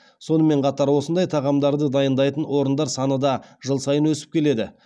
сонымен қатар осындай тағамдарды дайындайтын орындар саны да жыл сайын өсіп келеді